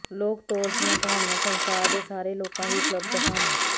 ਲੋਕਤੋਰ ਦੀਆਂ ਕਹਾਣੀਆਂ ਸੰਸਾਰ ਦੇ ਸਾਰੇ ਲੋਕਾਂ ਲਈ ਉਪਲਬਧ ਹਨ